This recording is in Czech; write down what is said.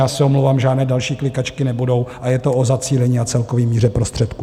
Já se omlouvám, žádné další klikačky nebudou a je to o zacílení a celkové míře prostředků.